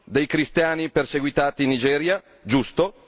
dei cristiani perseguitati in Nigeria, giusto.